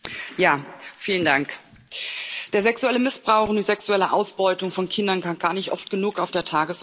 Herr Präsident! Der sexuelle Missbrauch und die sexuelle Ausbeutung von Kindern kann gar nicht oft genug auf der Tagesordnung stehen.